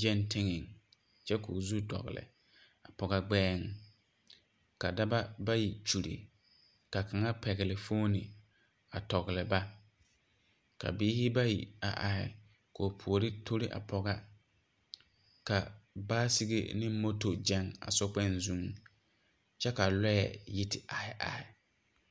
gaŋ teŋa kyɛ ko'o zu dɔgle a pɔge gbeɛ ,ka dɔɔba bayi nyuuli kyɛ ka kaŋa pegle phone a tɔgle ba ,ka biiri bayi are ka ba puori tori a pɔgega ka bicycle ane moto gaŋ a so kpoŋ zu kyɛ ka lɔɛ yi te are are.